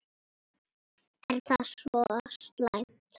Er það svo slæmt?